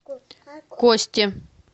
косте